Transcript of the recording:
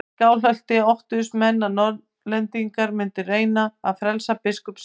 Í Skálholti óttuðust menn að Norðlendingar mundu reyna að frelsa biskup sinn.